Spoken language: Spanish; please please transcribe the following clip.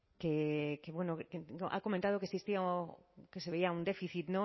que bueno ha comentado que existió que se veía un déficit